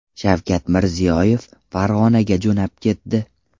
Shavkat Mirziyoyev Farg‘onaga jo‘nab ketdi.